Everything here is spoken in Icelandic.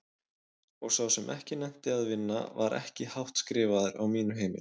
Og sá sem ekki nennti að vinna var ekki hátt skrifaður á mínu heimili.